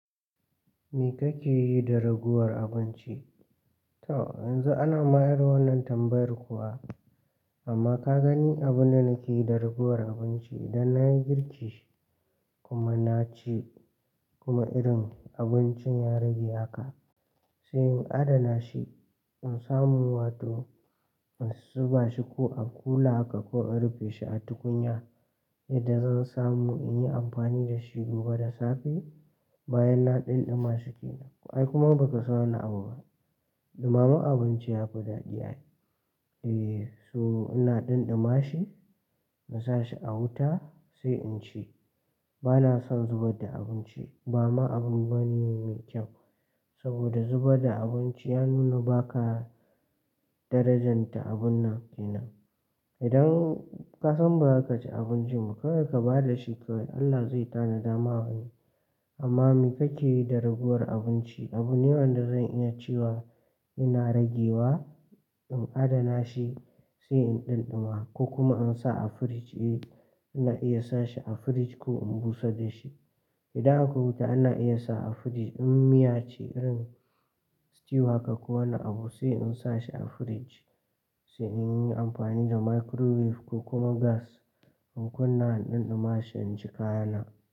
Me kake yi da ragowar abinci? To yanzu ana mayar wannan tambayar kuwa, amma ka gani abin da nake yi da ragowar abinci idan na yi girki kuma na ci kuma irin abincin ya rage haka, sai in adana shi in samu wato in zuba shi ko a kula aka ko in rufe shi a tukunya yadda zan samu in yi amfani da shi gobe da safe, bayan na ɗinɗima shi ke nan. Akai kuma ba ka so wannan abubuwa, ɗumaman abinci ya fi daɗi. Eh, so ina ɗinɗuma shi in sa shi a wuta sai in ci. Ba na son zubar da abinci ba ma abin bane mai kyau. Saboda zubar da abinci ya nuna ba ka darajanta abun nan ke nan. Idan ka san ba za ka ci abinci ba, ka da ka ba da shi kawai Allah zai tanada ma wani. Amma me kake yi da ragowar abinci? Abu ne wanda zan iya cewa ina rage wa in adana shi sai in ɗinɗuma ko kuma in sa a firij. Eh, ina iya sa shi a firij ko in busar da shi. Idan akwai wuta ina iya sa a firij in miya ce irin stew haka ko wani abu sai in sa shi a firij sai in yi amfani da microwave ko kuma gas in kunna ɗinɗuma shi in ci kayana.